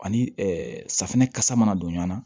Ani safinɛ kasa mana don ɲɔ na